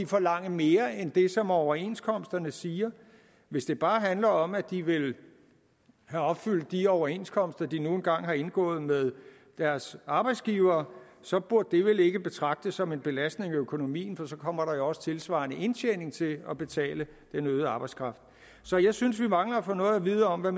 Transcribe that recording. forlange mere end det som overenskomsterne siger hvis det bare handler om at de vil have opfyldt de overenskomster de nu engang har indgået med deres arbejdsgivere så burde det vel ikke betragtes som en belastning af økonomien for så kommer der også tilsvarende indtjening til at betale den øgede arbejdskraft så jeg synes vi mangler at få noget at vide om hvad